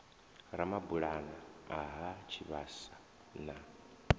ramabulana a ha tshivhasa na